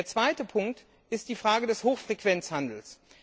Der zweite Punkt betrifft die Frage des Hochfrequenzhandels.